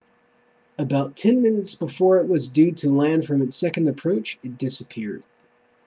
about ten minutes before it was due to land from its second approach it disapeared